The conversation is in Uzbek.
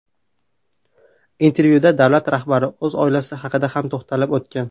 Intervyuda Davlat rahbari o‘z oilasi haqida ham to‘xtalib o‘tgan.